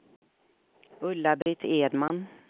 Ulla-Britt Edman